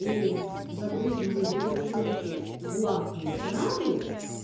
и загруженные завершёнке платные сразу